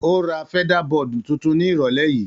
Ó ra feather-board tuntun ní ìrọ̀lẹ́ yìí.